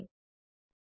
જોડાવા બદ્દલ આભાર